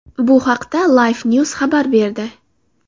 Bu haqda LifeNews xabar berdi .